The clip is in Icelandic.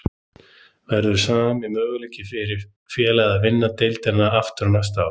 Verður sami möguleiki fyrir félagið að vinna deildina aftur næstu ár?